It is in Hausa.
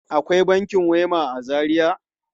Akwai bankin Wema a Zaria?